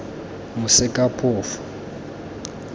mosekaphofu